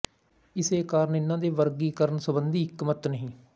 ਇਸੇ ਕਾਰਨ ਇਹਨਾਂ ਦੇ ਵਰਗੀਕਰਨ ਸੰਬੰਧੀ ਇੱਕ ਮਤ ਨਹੀਂ